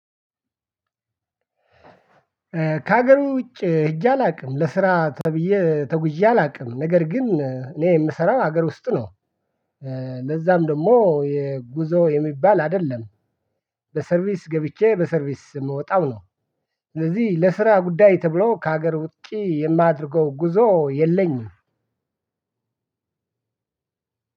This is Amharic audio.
ከሀገሩ ውጪ ሄጄ አላውቅም ለስራ ተብዬ ተጉዤ አላውቅም ነገር ግን እኔ የምሰራው ሀገር ውስጥ ነው። ለዛም ደግሞ የጉዞ የሚባል አይደለም። በሰርቪስ ገብቼ በሰርቪስ የምወጣው ነው። ስለዚህ ለስራ ጉዳይ ተብሎ ከሀገር ውጪ የማደርገው ጉዞ የለኝም።